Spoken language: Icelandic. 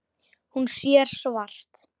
Hún sér svart.